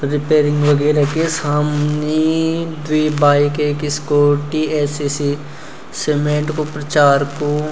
रिपेयरिंग वगेरह की सामनी द्वि बाईक ऐक स्कूटी ऐ.सी.सी. सीमेंट कु प्रचार कु।